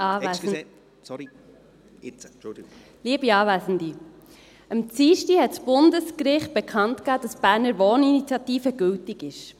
Am Dienstag hat das Bundesgericht bekannt gegeben, dass die Berner Wohninitiative gültig ist.